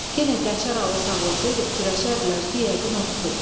Yenə Qəçər alı sağ olsaydı fikirləşərdilər ki, yəqin o tutub.